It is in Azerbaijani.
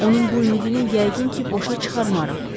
Onun bu ümidini yəqin ki, boşa çıxarmarıq.